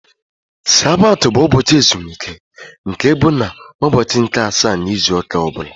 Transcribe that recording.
Sabat bụ ụbọchị ezumike nke bụ na ụbọchị nke asaá n' ịzụ ụka ọbula.